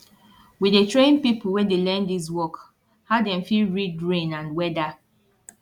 we dey train pipo wey dey learn dis work how dem fit read rain and weada